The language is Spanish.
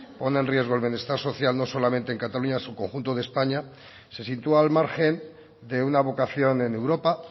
pone en riesgo el bienestar social no solamente en cataluña sino en el conjunto de españa se sitúa al margen de una vocación en europa